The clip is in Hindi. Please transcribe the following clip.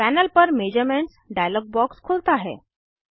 पैनल पर मेजरमेंट्स डायलॉग बॉक्स खुलता है